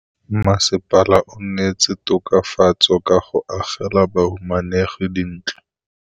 Mmasepala o neetse tokafatsô ka go agela bahumanegi dintlo.